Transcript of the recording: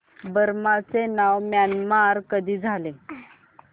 Burma चे नाव Myanmar कधी झाले